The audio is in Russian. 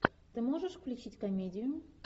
ты можешь включить комедию